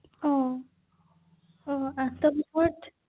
হা নিশ্চয়কৈ আৰু